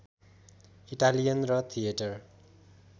Italian र theatre